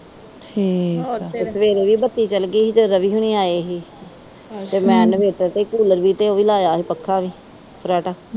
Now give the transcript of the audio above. ਮੇਰੇ ਵੀ ਬੱਚੇ ਚਲੇ ਗਏ ਸੀ ਫਿਰ, ਰਵੀ ਹਰੀ ਆਏ ਸੀ। ਤੇ ਮੈਂ ਕੂਲਰ ਵੀ ਲਾਇਆ ਸੀ ਤੇ ਉਹ ਪੱਖਾ ਵੀ ਲਾਇਆ ਸੀ ਫਰਾਟਾ।